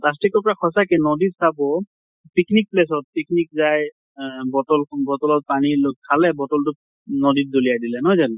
plastic তোৰ পৰা সচাঁকে, নদীত চাব picnic place ত picnic যায় আ bottle সং bottle ত পানী খালে bottle তো, নদীত দলিয়াই দিলে, নহয় জানো ?